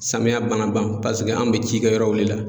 Samiya banna ban paseke an bɛ ji kɛ yɔrɔw le la.